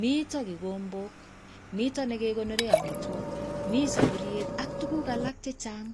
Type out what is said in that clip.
Mito kikombok, mito nekekonore amitwok, mi sapuriet ak tuguk alak chechang.